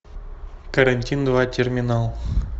карантин два терминал